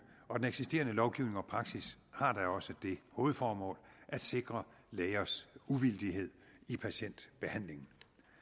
og den eksisterende lovgivning og praksis har da også det hovedformål at sikre lægers uvildighed i patientbehandlingen